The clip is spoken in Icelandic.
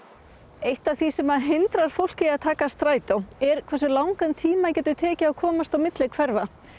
eitt af því sem hindrar fólk í að taka strætó er hversu langan tíma það getur tekið að komast milli hverfa